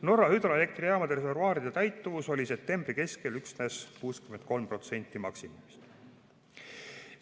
Norra hüdroelektrijaamade reservuaaride täituvus oli septembri keskel üksnes 63% maksimumist.